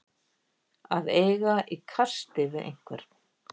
Að eiga í kasti við einhvern